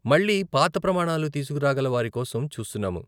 మళ్ళీ పాత ప్రమాణాలు తీస్కురాగల వారి కోసం చూస్తున్నాము.